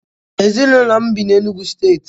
Ezịnụlo m bị na Enugwu steetị